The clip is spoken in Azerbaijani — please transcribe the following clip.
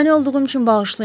Mane olduğum üçün bağışlayın,